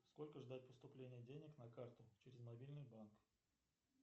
сколько ждать поступления денег на карту через мобильный банк